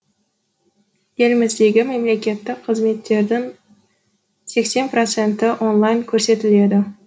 еліміздегі мемлекеттік қызметтердің сексен проценті онлайн көрсетіледі